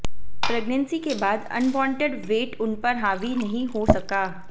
pregnancy के बाद unwanted weight उनपर हावी नहीं हो सका